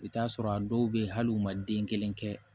I bɛ t'a sɔrɔ a dɔw bɛ yen hali u ma den kelen kɛ